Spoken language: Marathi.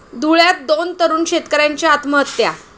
धुळ्यात दोन तरुण शेतकऱ्यांची आत्महत्या